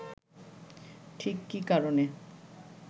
ঠিক কী কারণে